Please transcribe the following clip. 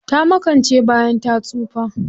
Ta makance bayan ta tsufa.